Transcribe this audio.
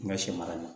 N ka sɛ mara